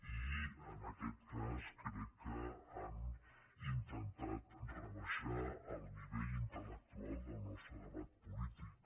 i en aquest cas crec que han intentat rebaixar el nivell intel·lectual del nostre debat polític